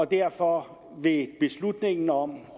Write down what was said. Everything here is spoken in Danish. derfor vil beslutningen om